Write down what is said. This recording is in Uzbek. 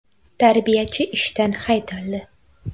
Tarbiyachi ishdan haydaldi.